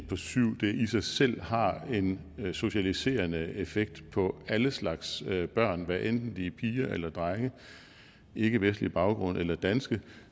på syv i sig selv har en socialiserende effekt på alle slags børn hvad enten de er piger eller drenge har ikkevestlig baggrund eller er danske